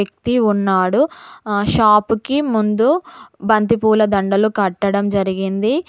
క్తి ఉన్నాడు ఆ షాప్ కి ముందు బంతిపూల దండలు కట్టడం జరిగింది.